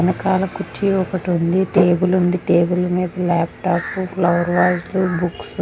వెనుకాల కుర్చీ ఒక్కటి ఉంది. టేబుల్ ఉంది. టేబుల్ మీద లాప్ టాప్ లు ఫ్లవర్ వాస్ లు బుక్స్ --